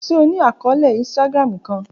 Ṣe o ni akọọlẹ Instagram kan?